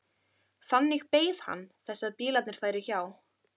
Þannig beið hann þess að bílarnir færu hjá.